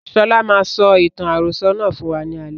Sọlá máa sọ ìtàn àròsọ̀ náà fún wa ní alẹ́